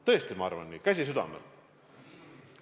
Tõesti ma arvan nii, käsi südamel.